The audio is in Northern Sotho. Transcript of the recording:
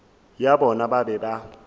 ya bona ba be ba